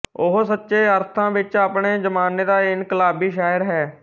ਉਹ ਸੱਚੇ ਅਰਥਾਂ ਵਿੱਚ ਆਪਣੇ ਜਮਾਨੇ ਦਾ ਇਨਕਲਾਬੀ ਸ਼ਾਇਰ ਹੈ